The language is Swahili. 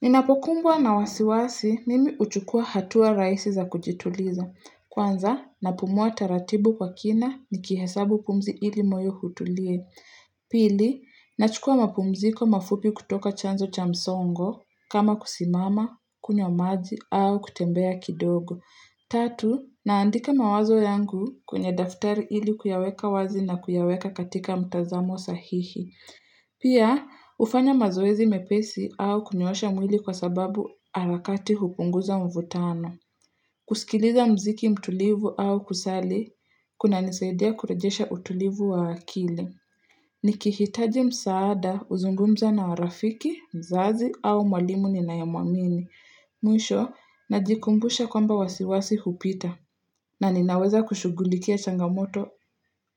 Ninapokumbwa na wasiwasi mimi huchukua hatua rahisi za kujituliza. Kwanza, napumua taratibu kwa kina nikihesabu pumzi ili moyo utulie. Pili, nachukua mapumziko mafupi kutoka chanzo cha msongo, kama kusimama, kunywa maji, au kutembea kidogo. Tatu, naandika mawazo yangu kwenye daftari ili kuyaweka wazi na kuyaweka katika mtazamo sahihi. Pia, hufanya mazoezi mepesi au kunyoosha mwili kwa sababu harakati hupunguza mvutano. Kusikiliza muziki mtulivu au kusali, kunanisaidia kurejesha utulivu wa akili. Nikihitaji msaada huzungumza na marafiki, mzazi au mwalimu ninayemwamini. Mwisho, najikumbusha kwamba wasiwasi hupita. Na ninaweza kushugulikia changamoto